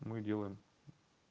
мы делаем